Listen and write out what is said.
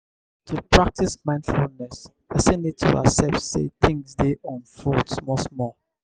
to practice mindfulness person need to accept sey things dey unfold small small